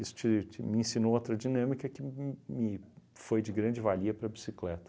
Isso te te me ensinou outra dinâmica que me foi de grande valia para bicicleta.